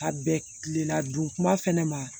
Ka bɛn kileladon ma fɛnɛ ma